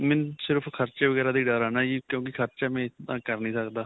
ਮੈਨੂੰ ਖਰਚੇ ਵਗੈਰਾ ਦਾ ਹੀ ਡਰ ਹੈ ਨਾਂ ਜੀ ਕਿਉਂਕਿ ਖਰਚਾ ਮੈਂ ਇੰਨਾ ਕਰ ਨਹੀਂ ਸਕਦਾ.